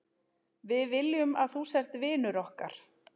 Við viljum að þú sért vinur okkar.